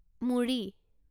মুড়ি